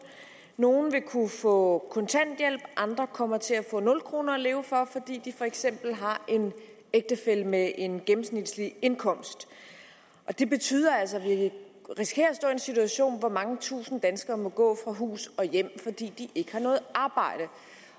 nogle vil kunne få kontanthjælp andre kommer til at få nul kroner at leve for fordi de for eksempel har en ægtefælle med en indkomst det betyder altså at vi risikerer at stå i en situation hvor mange tusinde danskere må gå fra hus og hjem fordi de ikke har noget arbejde